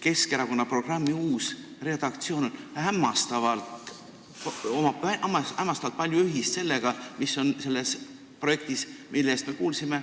Keskerakonna valmiva programmi uuel redaktsioonil on hämmastavalt palju ühist sellega, mis on kirjas selles projektis, millest me siin kuulsime.